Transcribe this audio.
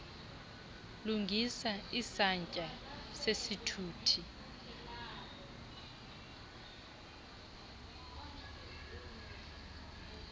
lungisa isantya sesithuthi